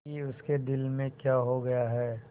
कि उसके दिल में क्या हो गया है